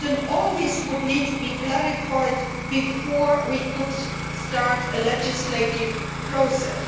All this would need to be clarified before we could start a legislative process.